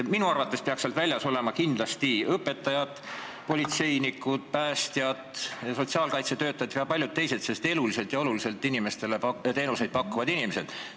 Minu arvates peaks sellest väljas olema kindlasti õpetajad, politseinikud, päästjad, sotsiaalkaitsetöötajad ja paljud teised eluliselt tähtsaid ja muid olulisi teenuseid pakkuvad inimesed.